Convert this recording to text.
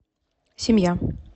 семья